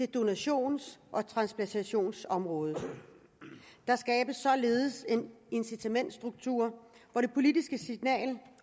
donations og transplantationsområdet der skabes således en incitamentsstruktur hvor det politiske signal